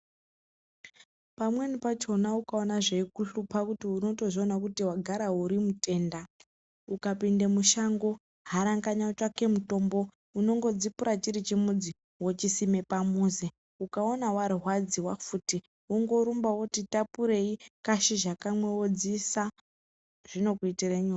Pamweni pachona ukaona zveikuhlupa kuti unozviona kuti unogara urimutenda, ukapinde mushango, haranganya utsvake mutombo. Unongo dzipura chiri chimudzi wochisime pamuzi. Ukawona warwadziwa futi, wongorumba woti tapurei kashizha kamwe wodziisa zvinokuitire nyore.